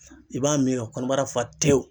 I b'a min ka kɔnɔbara fa tewu.